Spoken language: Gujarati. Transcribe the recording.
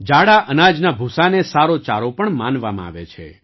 જાડા અનાજના ભૂસાને સારો ચારો પણ માનવામાં આવે છે